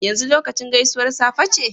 yanzu lokacin gaisuwar safe ce?